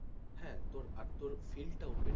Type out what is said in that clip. হ্যাঁ তোর আর তোর field টা open না,